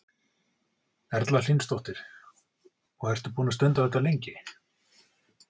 Erla Hlynsdóttir: Og ertu búinn að stunda þetta lengi?